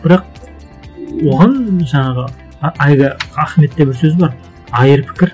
бірақ оған жаңағы әлгі ахметте бір сөз бар айыр пікір